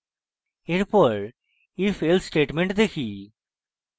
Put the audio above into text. এরপর ifelse statement দেখি